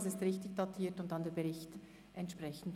Dies ist richtig datiert und der Bericht dann entsprechend.